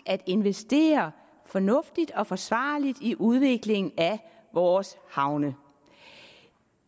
at investere fornuftigt og forsvarligt i udviklingen af vores havne